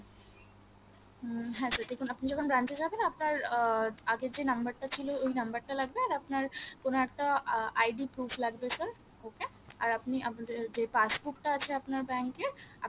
উম হ্যাঁ sir দেখুন আপনি যখন branch যাবেন আপনার আহ আগের যে number টা ছিল ওই নাম্বার টা লাগবে এর আপনার কোনো একটা ID proof লাগবে sir okay এর আপনি আপনাদের যে passbook টা আছে আপনার আপনার bank এর